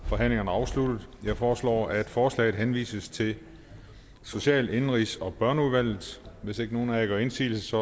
forhandlingerne afsluttet jeg foreslår at forslaget henvises til social indenrigs og børneudvalget hvis ikke nogen af jer gør indsigelse